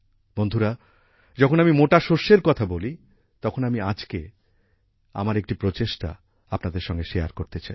বন্ধুরা যখন আমি মোটা শস্যের কথা বলি তখন আমি আজকে আমার একটি প্রচেষ্টা আপনাদের সঙ্গে শেয়ার করতে চাই